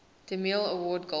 demille award golden